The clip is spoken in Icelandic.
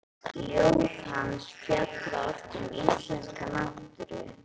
Ljóð hans fjalla oft um íslenska náttúru.